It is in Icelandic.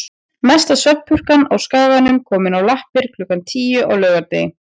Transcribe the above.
Mesta svefnpurkan á Skaganum komin á lappir klukkan tíu á laugardegi.